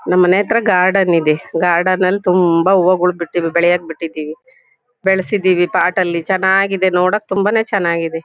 ನಮ್ ಮನೆ ಹತ್ರ ಗಾರ್ಡನ್ ಇದೆ ಗಾರ್ಡನ್ ಅಲ್ ತುಂಬಾ ಹೂ ಗಳು ಬಿಟ್ಟಿದ್ವು ಬೆಳಿಯಕ್ ಬಿಟ್ಟಿದೀವಿ ಬೆಳ್ಸಿದಿವಿ ಪಾಟ್ ಅಲ್ಲಿ ಚನಾಗಿದೆ ನೋಡಕ್ ತುಂಬಾನೇ ಚನಾಗಿದೆ.